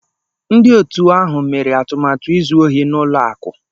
Ndị òtù ahụ mere atụmatụ izu ohi n'ụlọ akụ.